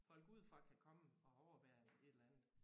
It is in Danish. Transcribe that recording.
Folk udefra kan komme og overvære et eller andet